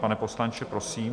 Pane poslanče, prosím?